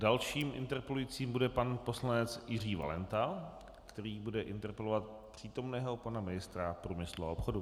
Další interpelující bude pan poslanec Jiří Valenta, který bude interpelovat přítomného pana ministra průmyslu a obchodu.